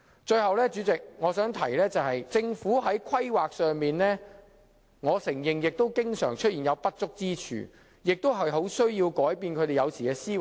主席，我想提出的最後一點是，我承認政府在規劃方面常有不足之處，所以有需要改變政府的思維。